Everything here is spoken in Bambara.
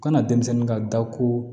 Kana denmisɛnnin ka da ko